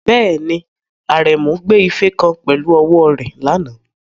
Bẹ́ẹ̀ni, Aremu gbé ife kan pẹ̀lú ọwọ́ rẹ̀ lánàá.